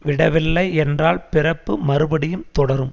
விடவில்லை என்றால் பிறப்பு மறுபடியும் தொடரும்